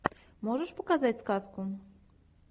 можешь показать сказку